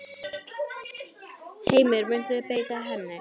Heimir: Muntu beita henni?